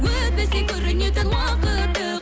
өтпесе көрінетін уақытты